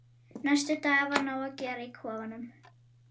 Næstu daga var nóg að gera í kofanum.